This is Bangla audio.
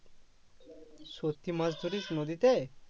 সত্যি মাছ ধরিস নদীতে?